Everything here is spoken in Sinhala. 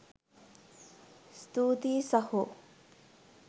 ස්තූතියි සහෝ.